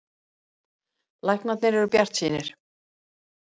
Læknarnir eru bjartsýnir.